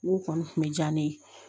N ko kɔni tun bɛ diya ne ye